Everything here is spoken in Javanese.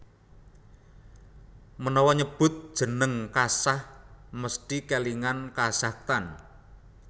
Menawa nyebut jeneng Kazakh mesthi kèlingan Kazakhstan